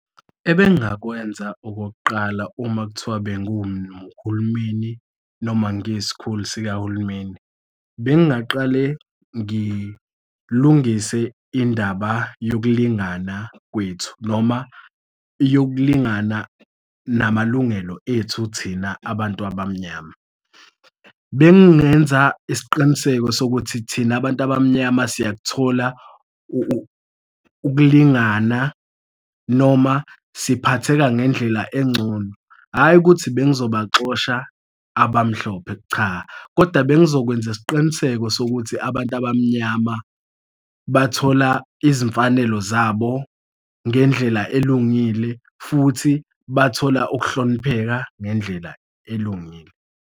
Ebengakwenza okokuqala uma kuthiwa bengumhulumeni noma ngiyisikhulu sikahulumeni, bengaqale ngilungise indaba yokulingana kwethu noma yokulingana namalungelo ethu thina abantu abamnyama. Bengingenza isiqiniseko sokuthi thina abantu abamnyama siyakuthola ukulingana noma siphatheka ngendlela engcono, hhayi ukuthi bengizobaxosha abamhlophe, cha, koda bengizokwenza isiqiniseko sokuthi abantu abamnyama bathola izimfanelo zabo ngendlela elungile futhi bathola ukuhlonipheka ngendlela elungile.